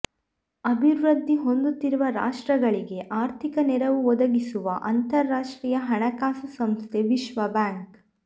ಅಭಿವೃದ್ಧಿ ಹೊಂದುತ್ತಿರುವ ರಾಷ್ಟ್ರಗಳಿಗೆ ಆರ್ಥಿಕ ನೆರವು ಒದಗಿಸುವ ಅಂತರಾರ್ಷ್ರ್ತೀಯ ಹಣಕಾಸು ಸಂಸ್ಥೆ ವಿಶ್ವ ಬ್ಯಾಂಕ್